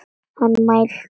Hann mælti.